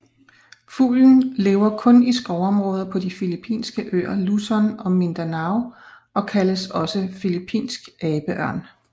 Fuglen lever kun i skovområder på de filippinske øer Luzon og Mindanao og kaldes også filippinsk abeørn